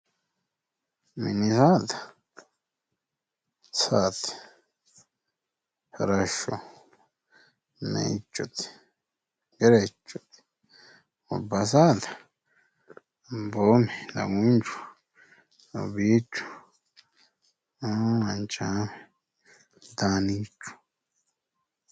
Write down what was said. Mininna dubbu saada yaa saa, farasho meichote, Gerechote ,gobba saada Daguncho ,Doobichu ,Manchaame, Daanichu